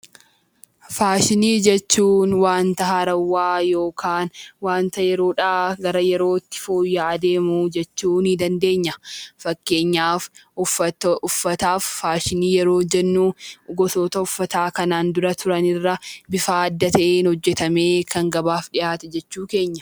Faashinii jechuun wanta haaraa yookaan wanta yeroodhaa gara yerootti fooyya'aa adeemu jechuudha. Fakkeenyaaf uffataaf faashinii yeroo jennu gosoota uffataa kanaan dura turan irraa bifa adda ta'een hojjatamee kan gabaaf dhiyaate jechuu keenya